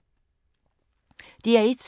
DR1